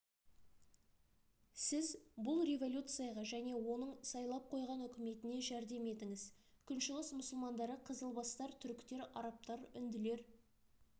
сіз бұл революцияға және оның сайлап қойған үкіметіне жәрдем етіңіз күншығыс мұсылмандары қызылбастар түріктер арабтар үнділер